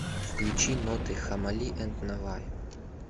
включи ноты хаммали энд наваи